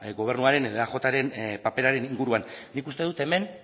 gobernuaren edo eajren paperaren inguruan nik uste dut hemen